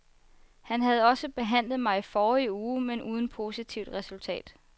Han havde også behandlet mig i forrige uge, men uden positivt resultat.